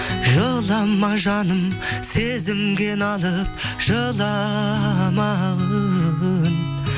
жылама жаным сезімге налып жыламағын